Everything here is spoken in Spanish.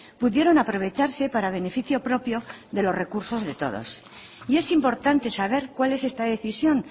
pudieron aprovecharse para beneficio propio de los recursos de todo y es importante saber cuál es esta decisión